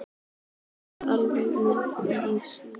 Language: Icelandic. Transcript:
Er það algengt nafn á Íslandi?